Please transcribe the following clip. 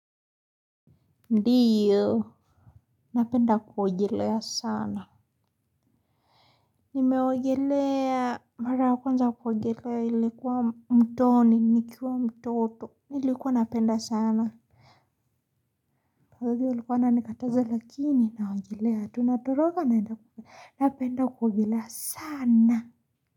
Ndiyo. Napenda kuogelea sana. Nimeogelea mara ya kwenza kuogelea ilikuwa mtoni, nikiwa mtoto. Nilikuwa napenda sana. Kwa hivyo walikuwa wananikataza lakini, naogelea, tu natoroka, napenda kuogelea sana.